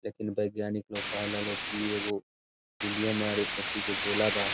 लेकिन वैज्ञानिक लोग कहला लोग इ एगो हीलियम और ऐठी के गोला बा।